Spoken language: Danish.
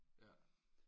Ja